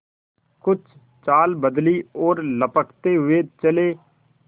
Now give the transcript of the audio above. कुछ चाल बदली और लपकते हुए चले